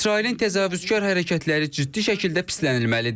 İsrailin təcavüzkar hərəkətləri ciddi şəkildə pislənilməlidir.